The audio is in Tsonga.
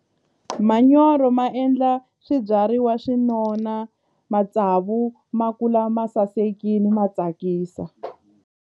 Manyoro ma endla swibyariwa swi nona matsavu ma kula ma sasekile ma tsakisa.